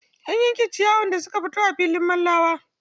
An yanke ciyayin da suka fito a filin Mallawa.